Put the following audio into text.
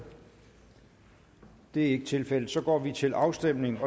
det er ikke tilfældet og så går vi til afstemning